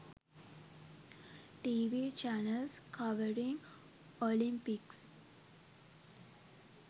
tv channels covering olympics